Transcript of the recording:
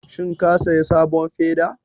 Shin ka saya sabon feda?